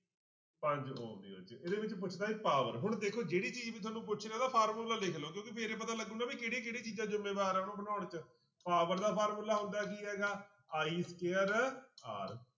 ਪੰਜ ਇਹ ਪੁੱਛਦਾ ਇਹ power ਹੁਣ ਦੇਖੋ ਜਿਹੜੀ ਚੀਜ਼ ਵੀ ਤੁਹਾਨੂੰ ਪੁੱਛ ਰਿਹਾ ਉਹਦਾ ਫਾਰਮੁਲਾ ਲਿਖ ਲਓ ਕਿਉਂਕਿ ਫਿਰ ਹੀ ਪਤਾ ਲੱਗੇਗਾ ਵੀ ਕਿਹੜੀਆਂ ਕਿਹੜੀਆਂ ਚੀਜ਼ਾਂ ਜ਼ਿੰਮੇਵਾਰ ਆ ਉਹਨੂੰ ਬਣਾਉਣ 'ਚ power ਦਾ ਫਾਰਮੁਲਾ ਹੁੰਦਾ ਕੀ ਹੈਗਾ i square r